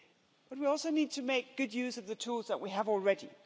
But we also need to make good use of the tools that we have already.